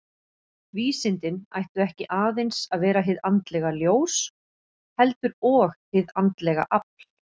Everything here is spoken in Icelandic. Vísindin ættu ekki aðeins að vera hið andlega ljós, heldur og hið andlega afl.